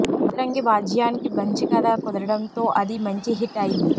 బజరంగి భాయ్జాన్కి మంచి కథ కుదరడంతో అది మంచి హిట్ అయింది